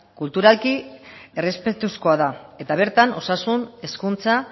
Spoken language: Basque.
kulturalki errespetuzkoa da eta bertan osasun hezkuntza